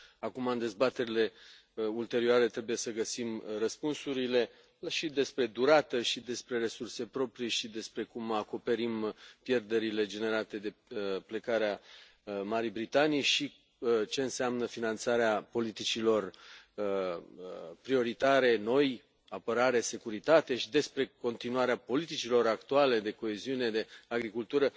Acum, în dezbaterile ulterioare, trebuie să găsim răspunsurile și despre durată și despre resurse proprii și despre cum acoperim pierderile generate de plecarea Marii Britanii și ce înseamnă finanțarea politicilor prioritare noi, apărare, securitate și despre continuarea politicilor actuale de coeziune, de agricultură.